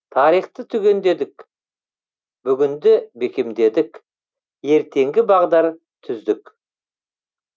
тарихты түгендедік бүгінді бекемдедік ертеңгі бағдар түздік